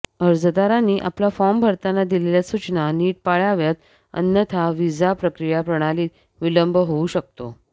अर्जदारांनी आपला फॉर्म भरताना दिलेल्या सूचना निट पाळाव्यात अन्यथा व्हिसा प्रक्रिया प्रणालीत विलंब होऊ शकतो